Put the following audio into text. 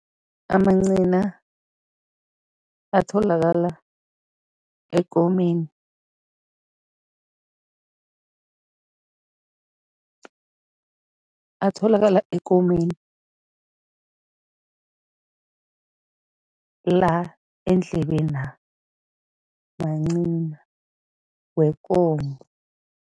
Amancina atholakala ekomeni, atholakala ekomeni, la eendlebena, mancina wekomo.